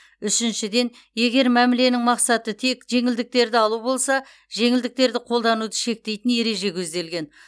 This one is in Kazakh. үшіншіден егер мәміленің мақсаты тек жеңілдіктерді алу болса жеңілдіктерді қолдануды шектейтін ереже көзделген